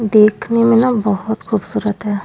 देखने में ना बहुत खूबसूरत है।